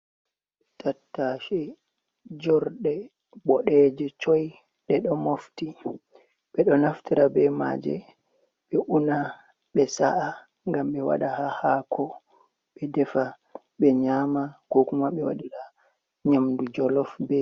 Tattace joorɗe, boɗeeje coy ɗe ɗo mofti. Ɓe ɗo naftira be maaje be una, ɓe sa’a, ngam ɓe waɗa haa haako, ɓe defa, ɓe nyaama. Ko kuma ɓe waɗira nyamdu jolof be.